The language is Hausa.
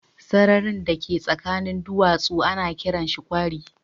Sararin da ka tsakiyan duwatsu ana kiran shi kwari.